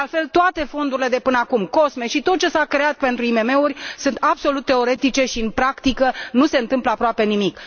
De altfel, toate fondurile de până acum, COSME și tot ce s a creat pentru IMM uri, sunt absolut teoretice și în practică nu se întâmplă aproape nimic.